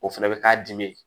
O fɛnɛ bɛ k'a dimi ye